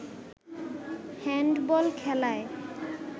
handball খেলায়